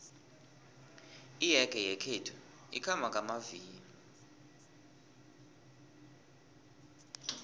iyege yakwethu ikhamba ngamavilo